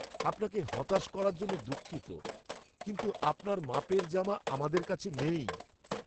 আপনাকে হতাশ করার জন্য দুঃখিত কিন্তু আপনার মাপের জামা আমাদের কাছে নেই।